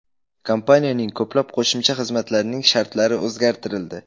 Kompaniyaning ko‘plab qo‘shimcha xizmatlarining shartlari o‘zgartirildi.